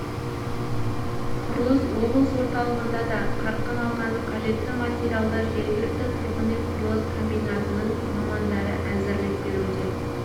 құрылыс облыс орталығында да қарқын алған қажетті материалды жергілікті тұрғын үй құрылыс комбинатының мамандары әзірлеп беруде